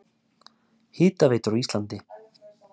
Hitaveitur á Íslandi